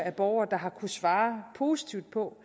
borgere der har kunnet svare positivt på